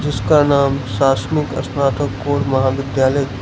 उसका नाम शासनिक स्नातककोर महाविद्यालय --